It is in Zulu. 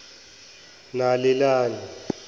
nalelani